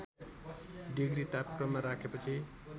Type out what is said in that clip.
degree तापक्रममा राखेपछि